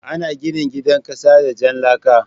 Ana gina gidan kasa da jan laka.